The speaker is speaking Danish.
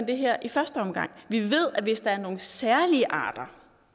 det her i første omgang vi ved at hvis der er nogle særlige arter